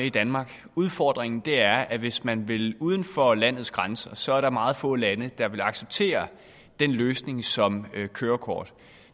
i danmark udfordringen er at hvis man vil uden for landets grænser er der meget få lande der vil acceptere den løsning som kørekort